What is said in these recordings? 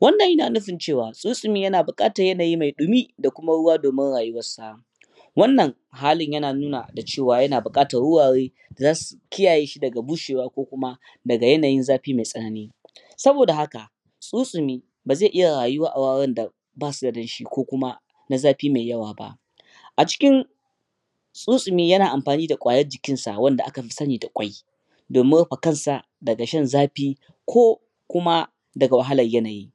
wannna yana nufin cewa tsuntsumi yana bukatar yanayi mai dumi da kuma ruwa domin rayuwarsa wannan halin ya na nuna da cewa ya na bukatar wurare da zasu ki yaye shi daga bushewa ko kuma daga yanayin zafi mai tsanani saboda haka tsuntsumi bazai iya rayuwa awajen da basu da damshi ko kuma na zafi mai yawa ba acikin tsuntsumi yana anfani da kwayar jikin sa wanda aka fi sanida kwai domin rufe kansa daga shan zafi ko kuma daga wahalar yanayi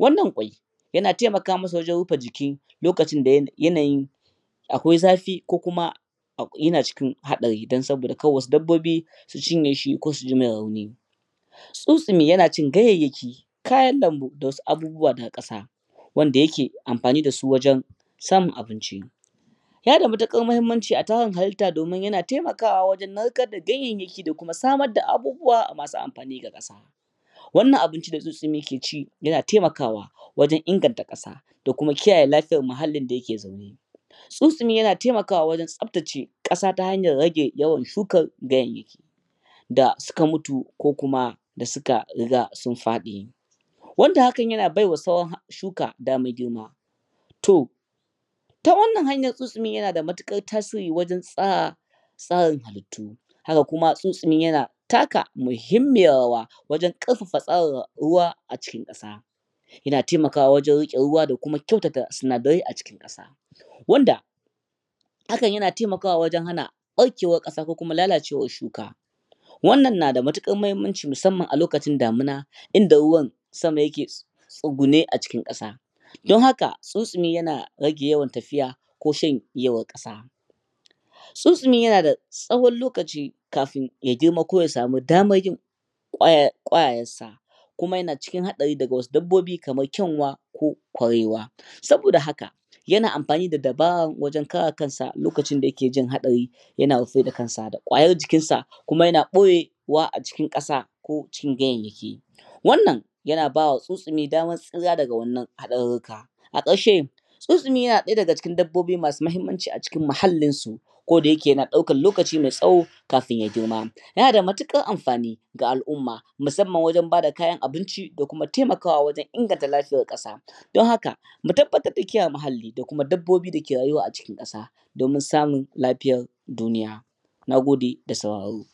wannan kwai yana temaka masa wajen rufe jiki lokacin da yanayin akwai zafi ko kuma yana cikin hadari dan saboda wasu dabbobi su cinye shi ko su jimasa rauni tsuntsumi yana cin ganyayyaki kayan lambu da abubuwa na kasa wanda yake amfani dasu wajen samun abinci yana matukar muhimmanci a tarin halitta domin yana temakawa narkar da ganyayyaki da kuma samar da abubuwa masu amfani ga kasa wannan abinci da tsuntsumi yake ci yana temakawa wajen inganta kasa da kuma kiyaye lafiyar muhallin da yake zaune tsuntsumi yana temaka wajen tsaftace kasa ta hanyar rage yawan shukan ganyayyaki da suka mutu ko kuma da suka riga sun fadi wanda yana baiwa shuka damar girma to ta wannnan hanyan tsuntsumi yana matukar tasiri wajen tsara hallitu haka kuma tsuntsumi yana taka muhimmiyar rawa wajen karfafa tsarin ruwa a cikin kasa yana temakawa wajen rike ruwa dakuma kyautata sinadarai acikin kasa wanda hakan yana temaka wa wajen hana barkewar kasa ko lalacewar shuka wannan na matukar muhimmanci musamman a lokacin damuna inda ruwan sama yake tsugune acikin kasa don haka tsuntsumi yana rage yawan tafiya ko shan yawan kasa tsuntsumi yana tsawon lokaci kafun ya girma ko yasa mi damar yin kwayayen sa kuma yana cikin hadarin daga wasu dabbobi kamar kyanwa ko kurewa saboda haka yana anfani da dabara wajen kare kansa lokacin da yake jin hadari yana rufe kansa da kwayar jikin sa kuma yana boye wa acikin kasa ko cikin ganyenyaki wannna yana bawa tsunstumi dama tsira wannan hadarruka a karshe tsuntsumi yana daya daga cikin dabbobi masu muhimmanci a cikin muhallinsu koda yake yana daukan lokaci mai tsawo kafin ya girma yana matukar anfani ga alumma musamman wajen bada kayan abinci da kuma temaka wa wajen inganta lafiyar kasa don haka mu tabbatar da mun kiyaye muhalli da kuma dabbobi dake rayuwa acikin kasa domin samun lafiyar duniya nagode da sauraro